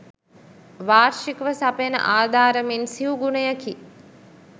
වාර්ෂිකව සපයන ආධාර මෙන් සිවු ගුණයකි.